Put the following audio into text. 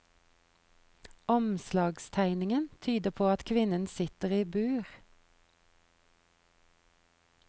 Omslagstegningen tyder på at kvinnen sitter i bur.